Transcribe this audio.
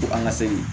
Ko an ka segin